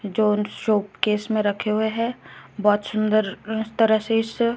जो शोकेस में रखे हुए है बहोत सुंदर तरह से इस--